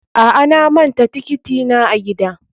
A'a, na manta tiketi na a gida.